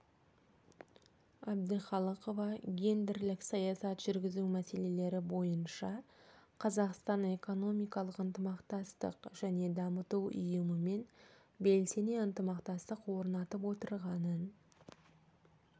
әбдіқалықова гендерлік саясат жүргізу мәселелері бойынша қазақстан экономикалық ынтымақтастық және даму ұйымымен белсене ынтымақтастық орнатып отырғанын